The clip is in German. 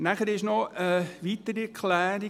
Nachher gibt es noch eine weitere Erklärung: